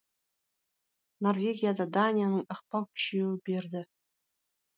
норвегияда данияның ықпал күшейе берді